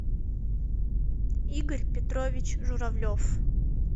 игорь петрович журавлев